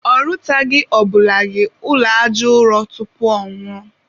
ọ rụtaghị ọbụladị ụlọ aja ụrọ tupu ọnwụọ